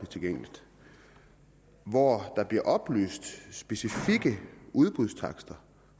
tilgængelig hvori der bliver oplyst specifikke udbudstakster